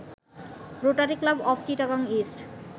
rotary Club of Chittagong east